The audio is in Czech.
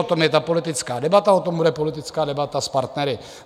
O tom je ta politická debata, o tom bude politická debata s partnery.